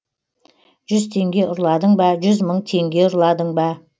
жүз теңге ұрладың ба жүз мың теңге ұрладың ба